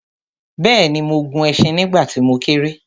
bẹ́ẹ̀ni, mo gun ẹṣin nígbà tí mo kéré